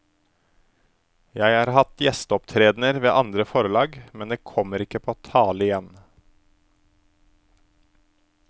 Jeg har hatt gjesteopptredener ved andre forlag, men det kommer ikke på tale igjen.